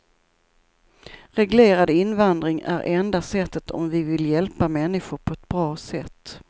Reglerad invandring är enda sättet om vi vill hjälpa människor på ett bra sätt.